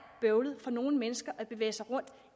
bøvlet for nogle mennesker at bevæge sig rundt